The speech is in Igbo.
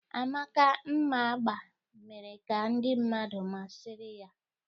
Amaka mma agba mere ka ndị mmadụ masịrị ya